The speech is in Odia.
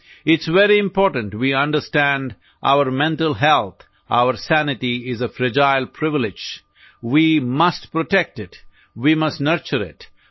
ITES very important we understand our mental health our sanity is a fragile privilege we must protect it we must nurture IT